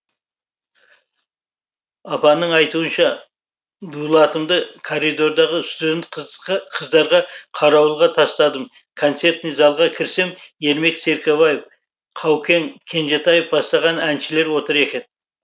апаның айтуынша дулатымды коридордағы студент қыздарға қарауылға тастадым концертный залға кірсем ермек серкебаев каукен кенжетаев бастаған әншілер отыр екен